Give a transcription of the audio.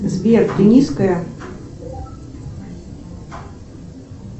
сбер ты низкая